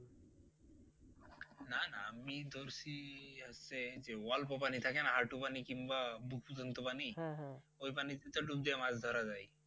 আমি ধরছি হচ্ছে যে অল্প পানি থাকে না হাঁটু পানি কিংবা বুক পর্যন্ত পানি ওই পানি তে তো ডুব দিয়ে মাছ ধরা যায়